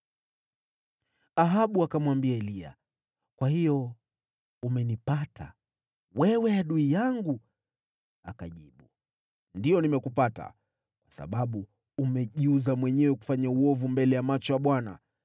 Ahabu akamwambia Eliya, “Kwa hiyo umenipata, wewe adui yangu!” Akajibu, “Ndiyo, nimekupata. Kwa sababu umejiuza mwenyewe kufanya uovu mbele ya macho ya Bwana .